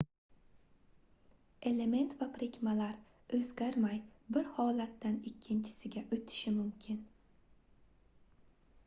element va birikmalar oʻzgarmay bir holatdan ikkinchisiga oʻtishi mumkin